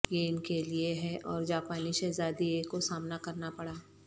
یہ ان کے لئے ہے اور جاپانی شہزادی ایکو سامنا کرنا پڑا